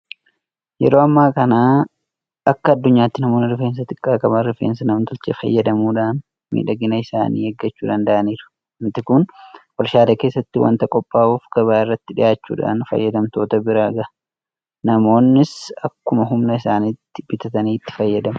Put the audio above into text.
Yeroo ammaa kana akka addunyaatti namoonni rifeensa xiqqaa qaban rifeensa namtolchee fayyadamuudhaan miidhagina isaanii eeggachuu danda'aniiru. Waanti kun warshaalee keessatti waanta qophaa'uuf gabaa irratti dhiyaachuudhaan fayyadamtoota bira gaha. Namoonnis akkuma humna isaaniitti bitatanii itti fayyadamu.